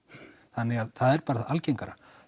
þannig það er bara algengara